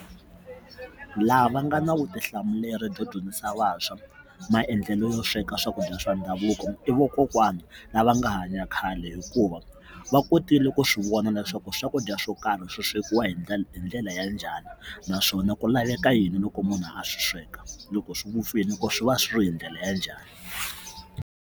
Laha va nga na vutihlamuleri byo dyondzisa vantshwa maendlelo yo sweka swakudya swa ndhavuko i vokokwani lava nga hanya khale hikuva va kotile ku ku swi vona leswaku swakudya swo karhi swi swekiwa hi ndlela hi ndlela ya njhani naswona ku laveka yini loko munhu a swi sweka loko swi vupfile loko swi va swi ri hi ndlela ya njhani.